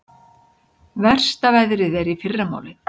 Versta veðrið í fyrramálið